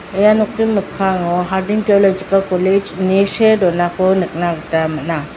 ia nokni mikkango harding tiolojikal kolej ine see donako nikna gita man·a.